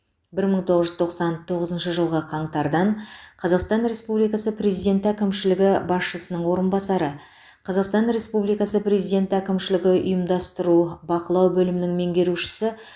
бір мың тоғыз жүз тоқсан тоғызыншы жылғы қаңтардан қазақстан республикасы президенті әкімшілігі басшысының орынбасары қазақстан республикасы президенті әкімшілігі ұйымдастыру бақылау бөлімінің меңгерушісі